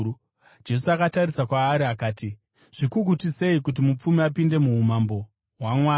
Jesu akatarisa kwaari akati, “Zvikukutu sei kuti mupfumi apinde muumambo hwaMwari!